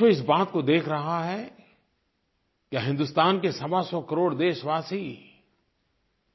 पूरा विश्व इस बात को देख रहा है कि हिन्दुस्तान के सवासौ करोड़ देशवासी